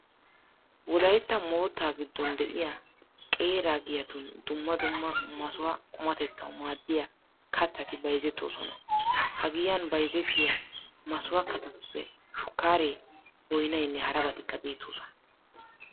Wolaytta moottaa giddon de'iya qeera giyatun dumma dumma masuha qumatettawu maaddiya kattati bayzettoosona. Ha giyan bayzettiya masuha kattatuppe shukkaaree, boynaynne harabatikka beettoosona.